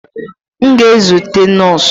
M ga-ezute nọọsụ.